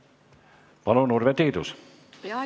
Palun, Urve Tiidus!